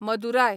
Madurai